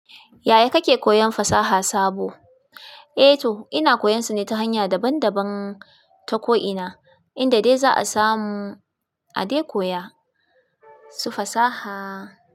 Yaya kake koyan fasaha sabo? Eh to ina koyan su ne ta hanya daban daban ta ko'ina, inda dai za a samu a dai koya su fasaha.